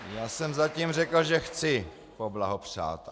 Já jsem zatím řekl, že chci poblahopřát.